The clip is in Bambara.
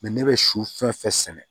ne bɛ su fɛn fɛn sɛnɛ